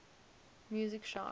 music sharp